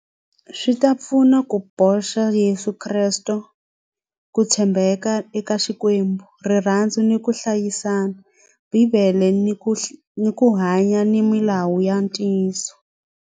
Swi ta pfuna ku boxa Yeso Kresto ku tshembeka eka xikwembu rirhandzu ni ku hlayisana bibele ni ku ni ku hanya ni milawu ya ntiyiso.